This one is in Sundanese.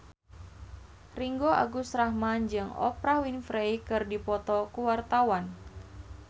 Ringgo Agus Rahman jeung Oprah Winfrey keur dipoto ku wartawan